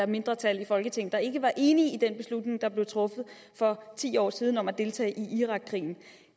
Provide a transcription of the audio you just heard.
mindretal i folketinget der ikke var enig i den beslutning der bliver truffet for ti år siden om at deltage i irakkrigen